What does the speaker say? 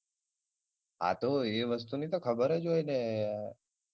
હાતો ઇ વસ્તુ ની તો ખબર જ હોય ને.